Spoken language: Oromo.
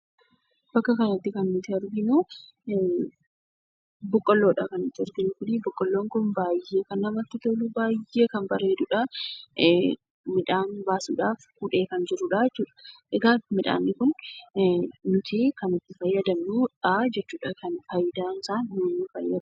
Bakka kanatti kan nuti arginu, boqqolloodha. Boqolloon kun baay'ee kan namatti tolu, baay'ee kan bareeduudha. Midhaan baasuudhaaf hudhee kan jiruudha jechuudha. Egaa midhaan kun kan itti fayyadamnuudha jechuudha.